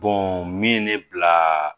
min ye ne bila